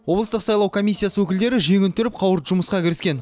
облыстық сайлау комиссиясы өкілдері жеңін түріп қауырт жұмысқа кіріскен